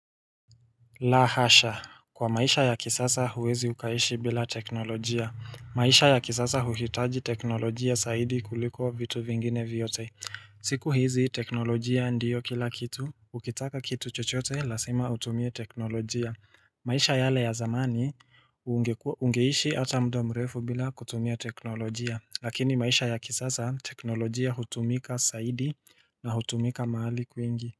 La hasha kwa maisha ya kisasa huwezi ukaishi bila teknolojia maisha ya kisasa huhitaji teknolojia saidi kuliko vitu vingine vyote siku hizi teknolojia ndiyo kila kitu Ukitaka kitu chochote lazima utumie teknolojia maisha yale ya zamani ungeishi ata muda mrefu bila kutumia teknolojia Lakini maisha ya kisasa teknolojia hutumika zaidi na hutumika mahali kwingi.